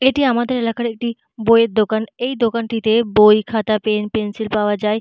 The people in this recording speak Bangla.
এটি আমাদের এলাকার একটি বই এর দোকান। এই দোকানটিতে বই খাতা পেন পেন্সিল পাওয়া যায়।